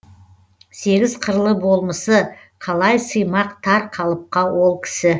сегіз қырлы болмысы қалай сыймақ тар қалыпқа ол кісі